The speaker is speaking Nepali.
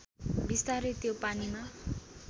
बिस्तारै त्यो पानीमा